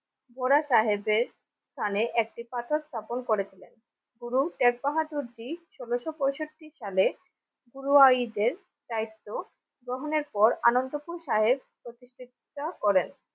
গোড়া সাহেবদের স্থানে একটি পাথর স্থাপন করেছিলেন গুরু শেখ বাহাদুরী ষোলশ পঁয়ষট্টি সালে পুর ওয়াইদের দায়িত্ব গ্রহণের পর আনন্দপুর সাহেব প্রতিষ্ঠিত করেন